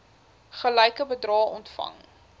gelyke bedrae ontvang